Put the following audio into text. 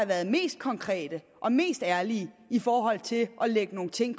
været mest konkret og mest ærlig i forhold til konkret at lægge nogle ting